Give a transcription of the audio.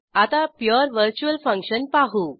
आता pure virtual function पाहू